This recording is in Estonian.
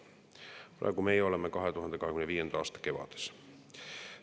Praegu oleme me 2025. aasta kevades.